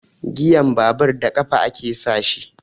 Giyan babur da ƙafa ake sa shi.